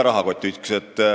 Rahakott ei ole üks.